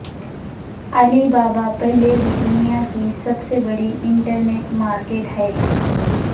علی بابا پہلے ہی دنیا کی سب سے بڑی انٹرنیٹ مارکیٹ ہے